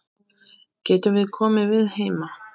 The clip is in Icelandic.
Getum við komið við heima?